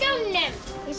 ég sé